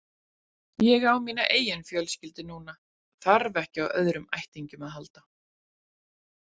Ég á mína eigin fjölskyldu núna, þarf ekki á öðrum ættingjum að halda.